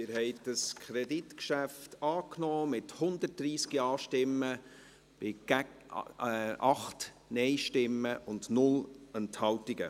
Sie haben dieses Kreditgeschäft angenommen, mit 130 Ja- bei 8 Nein-Stimmen und 0 Enthaltungen.